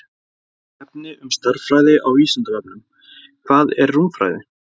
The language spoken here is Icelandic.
Meira efni um stærðfræði á Vísindavefnum: Hvað er rúmfræði?